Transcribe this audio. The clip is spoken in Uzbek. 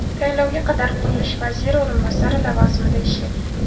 Tayinlovga qadar qurilish vaziri o‘rinbosari lavozimida ishlagan.